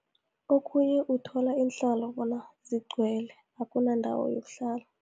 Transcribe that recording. Okhunye, uthola iinhlalo bona zigcwele, akunandawo yokuhlala.